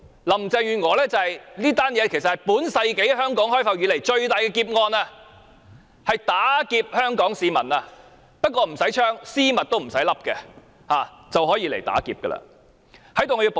林鄭月娥提出這項工程，其實是香港開埠以來最大的劫案，無需絲襪套頭便可以打劫全港市民。